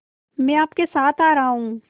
मैं आपके साथ आ रहा हूँ